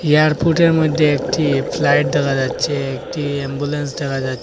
এয়ারপোর্টের মইধ্যে একটি ফ্লাইট দেখা যাচ্ছে একটি অ্যাম্বুলেন্স দেখা যাচ্ছে।